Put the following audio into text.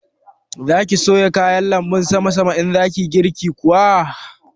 Za ki soya kayan lanbun sama sama in za ki yi girki kuma?